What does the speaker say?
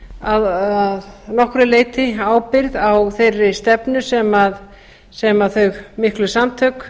að nokkru leyti ábyrgð á þeirri stefnu sem þau miklu samtök